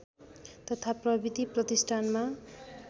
तथा प्रविधि प्रतिष्ठानमा